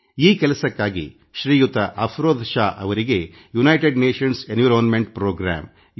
ಈ ಕೆಲಸಕ್ಕಾಗಿ ಶ್ರೀಯುತ ಅಫರೋಜ್ ಶಾ ಅವರಿಗೆವಿಶ್ವ ಸಂಸ್ಥೆಯ ಪರಿಸರ ಕಾರ್ಯಕ್ರಮ ಅಥವಾ ಯು